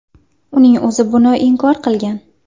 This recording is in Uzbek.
Uning o‘zi buni inkor qilgan.